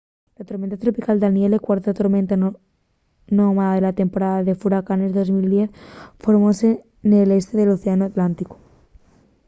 la tormenta tropical danielle cuarta tormenta nomada de la temporada de furacanes de 2010 formóse nel este del océanu atlánticu